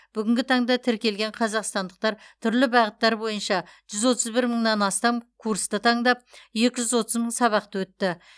бүгінгі таңда тіркелген қазақстандықтар түрлі бағыттар бойынша жүз отыз бір мыңнан астам курсты таңдап екі жүз отыз мың сабақты өтті